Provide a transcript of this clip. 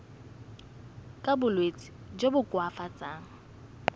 ka bolwetsi jo bo koafatsang